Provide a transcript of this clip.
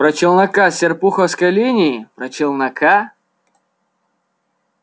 про челнока с серпуховской линии про челнока